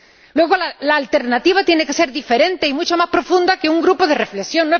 Luego la alternativa tiene que ser diferente y mucho más profunda que un grupo de reflexión.